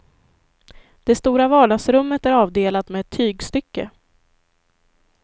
Det stora vardagsrummet är avdelat med ett tygstycke.